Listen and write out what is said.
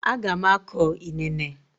A ga m akọ inene.